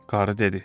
Qarı dedi.